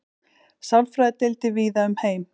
sálfræðideildir víða um heim